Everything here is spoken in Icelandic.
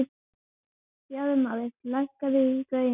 Bjarmar, lækkaðu í græjunum.